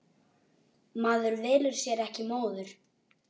Maður velur sér ekki móður.